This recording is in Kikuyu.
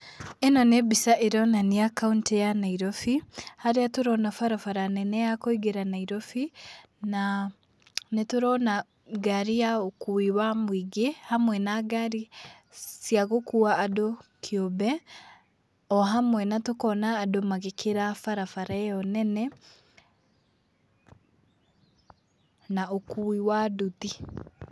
ĩno nĩ mbica ĩronania kauntĩ ya Nairobi, harĩa tũrona barabara nene ya kũingĩra Nairobi, na nĩ tũrona ngari ya ũkui wa mũingĩ, hamwe na ngari cia gũkua andũ kĩũmbe, o hamwe na tũkona andũ magĩkĩra barabara ĩyo nene, na ũkui wa nduthi.